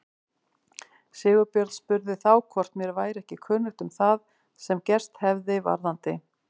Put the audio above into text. Sigurbjörn spurði þá hvort mér væri ekki kunnugt um það sem gerst hefði varðandi